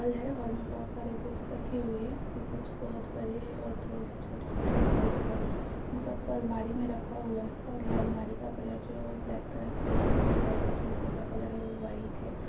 Whole हैं hall मे बोहत सारे बुक्स रखी हुई हैं । ये बुक्स बहुत बड़े है और थोड़े से छोटे-छोटे भी बुक्स हैं इन सबको अलमारी मे रखा हुआ है और ये अलमारी का कलर जो है ब्लैक कलर की है और यह होल का जो ऊपर का कलर है वो व्हाइट है।